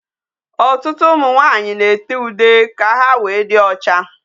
Ọtụtụ ụmụ nwaanyị na-ere ude ka ha wéé dị ocha.